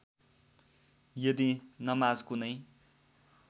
यदि नमाज कुनै